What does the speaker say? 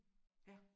Ja